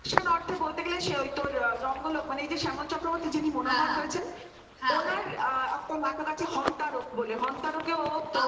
সেই অর্থে বলতে গেলে তোর রঙ্গ লোক এই যে শ্যামল চক্রবর্তী যিনি মনে হয়েছেন হ্যাঁ হ্যাঁ, ওনার একটা নাটক আছে হং তারক বলে হং তারকেও